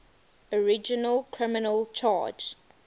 original criminal charge